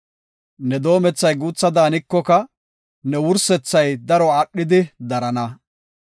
Ne doomethay guutha daanikoka, ne wursethay daro aadhidi darana.